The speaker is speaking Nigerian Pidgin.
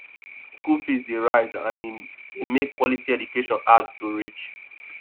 school fees dey rise and e dey make quality education hard to reach